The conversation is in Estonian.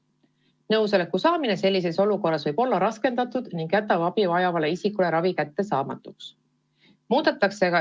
Nõusoleku saamine sellises olukorras võib olla raskendatud ning ravi jääb abi vajavale isikule kättesaamatuks.